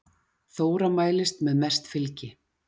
Þóra mælist með mest fylgi